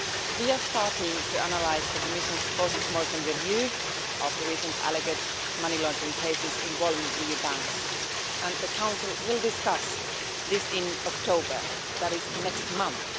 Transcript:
We are starting to analyse the Commission's post mortem review of the recent alleged money laundering cases involving EU banks, and the Council will discuss this in October, that is, next month.